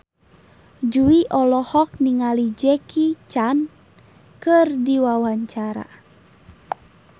Jui olohok ningali Jackie Chan keur diwawancara